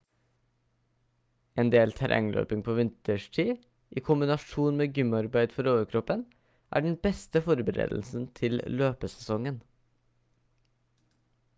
en del terrengløping på vinterstid i kombinasjon med gymarbeid for overkroppen er den beste forberedelsen til løpesesongen